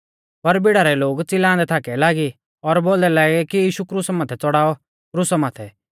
पर भीड़ा रै लोग चिल्लांदै थाकै लागी और बोलदै लागै कि यीशु क्रुसा माथै चौड़ाऔ क्रुसा माथै